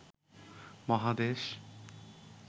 মহাদেশ